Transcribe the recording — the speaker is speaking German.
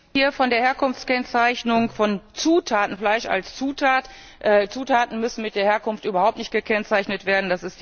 Zur Herkunftskennzeichnung von Zutaten, Fleisch als Zutat Zutaten müssen mit der Herkunft überhaupt nicht gekennzeichnet werden.